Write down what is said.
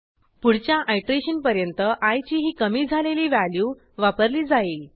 पुढच्या आयटरेशन पर्यंत आय ची ही कमी झालेली व्हॅल्यू वापरली जाईल